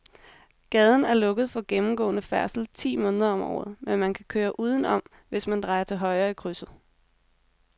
Gaden er lukket for gennemgående færdsel ti måneder om året, men man kan køre udenom, hvis man drejer til højre i krydset.